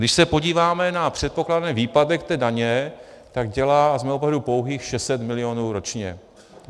Když se podíváme na předpokládaný výpadek té daně, tak dělá z mého pohledu pouhých 600 milionů ročně.